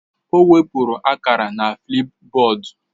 O weburu akara na Flipboard